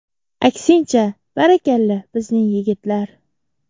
Aksincha, barakalla, bizning yigitlar.